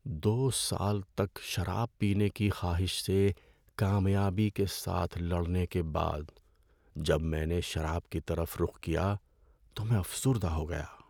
‏دو سال تک شراب پینے کی خواہش سے کامیابی کے ساتھ لڑنے کے بعد جب میں نے شراب کی طرف رخ کیا تو میں افسردہ ہو گیا۔